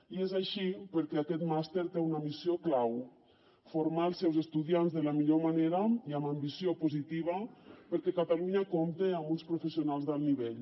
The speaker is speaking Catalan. i és així perquè aquest màster té una missió clau formar els seus estudiants de la millor manera i amb ambició positiva perquè catalunya compti amb uns professionals d’alt nivell